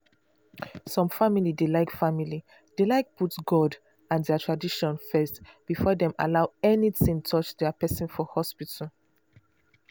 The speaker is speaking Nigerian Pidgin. some family dey like family dey like put god and their tradition first before dem allow anything touch their person for hospital.